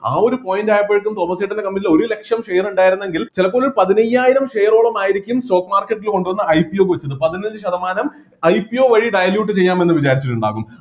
ആ ഒരു point ആയപ്പോഴേക്കും തോമസേട്ടൻ്റെ company ൽ ഒരു ലക്ഷം share ഉണ്ടായിരുന്നെങ്കിൽ ചിലപ്പോ ഒരു പതിനയ്യായിരം share ഓളം ആയിരിക്കും stock market ൽ കൊണ്ടുവന്ന് IPO വെച്ചത് പതിനഞ്ച് ശതമാനം IPO വഴി dilute ചെയ്യാം എന്നും വിചാരിച്ചിട്ടുണ്ടാവും